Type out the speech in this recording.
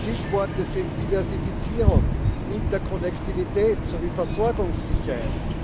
Stichworte sind Diversifizierung, Interkonnektivität sowie Versorgungssicherheit.